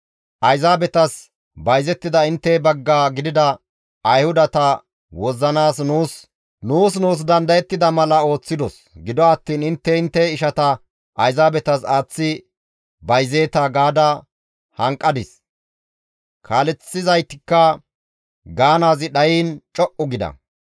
«Ayzaabetas bayzettida intte bagga gidida ayhudata wozzanaas nuus nuus dandayettida mala ooththidos; gido attiin intte intte ishata Ayzaabetas aaththi bayzeeta» gaada hanqadis; kaaleththizaytikka gaanaazi dhayiin co7u gida.